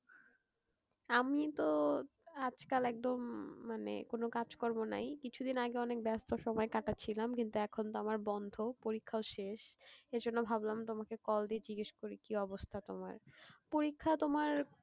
আমি তো আজকাল একদম মানে কোন কাজকর্ম নাই। কিছুদিন আগে অনেক ব্যস্ত সময় কাটাছিলাম কিন্তু এখন তো আমার বন্ধ, পরীক্ষাও শেষ এইজন্য ভাবলাম তোমাকে call দিয়ে জিগেস করি কি অবস্থা তোমার। পরীক্ষা তোমার কি,